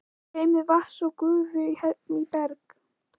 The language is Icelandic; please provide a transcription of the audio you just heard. Streymi vatns og gufu í bergi